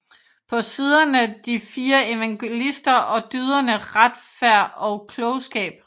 På siderne de fire evangelister og dyderne Retfærd og Klogskab